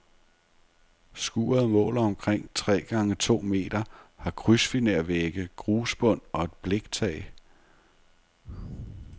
Skuret måler omkring tre gange to meter, har krydsfinervægge, grusbund og et bliktag.